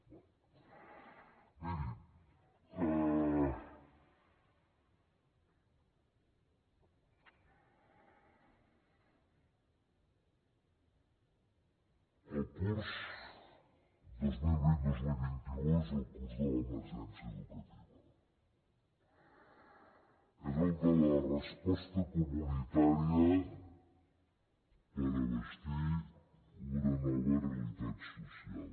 miri el curs dos mil vintdos mil vint u és el curs de l’emergència educativa és el de la resposta comunitària per abastir una nova realitat social